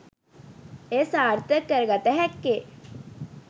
එය සාර්ථක කර ගත හැක්කේ